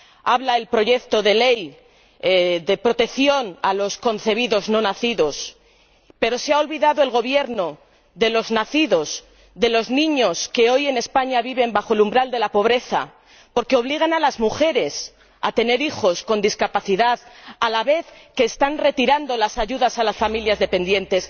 Habla el proyecto de ley de protección a los concebidos no nacidos, pero se ha olvidado el Gobierno de los nacidos, de los niños que hoy en España viven bajo el umbral de la pobreza porque obligan a las mujeres a tener hijos con discapacidad, a la vez que están retirando las ayudas a las familias dependientes.